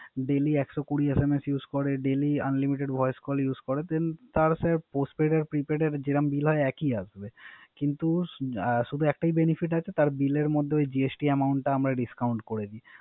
Daily একশো কুড়ি SMS use করে Daily, unlimited voice call use the postpaid এ prepaid এ যে রকম বিল হয় একই আসবে। কিন্তু শূদু একটাই Benefit তার বিলের মধ্যে GST amount আমরা Discount করে দেয়